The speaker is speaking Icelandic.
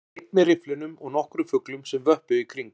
Hann var einn með rifflinum og nokkrum fuglum sem vöppuðu í kring